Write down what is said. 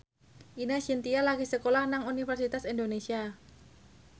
Ine Shintya lagi sekolah nang Universitas Indonesia